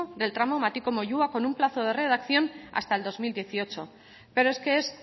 del tramo matiko moyua con un plazo de redacción hasta el dos mil dieciocho pero es que es